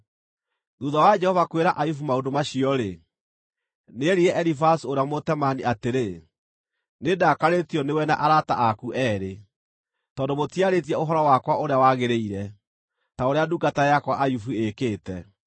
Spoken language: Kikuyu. Thuutha wa Jehova kwĩra Ayubu maũndũ macio-rĩ, nĩerire Elifazu ũrĩa Mũtemaani atĩrĩ, “Nĩndakarĩtio nĩwe na arata aku eerĩ, tondũ mũtiarĩtie ũhoro wakwa ũrĩa wagĩrĩire, ta ũrĩa ndungata yakwa Ayubu ĩĩkĩte.